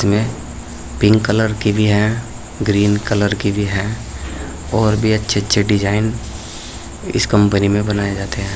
ये pink colour की भी है ग्रीन कलर की भी है और भी अच्छे अच्छे डिजाइन इस कंपनी में बनाए जाते है।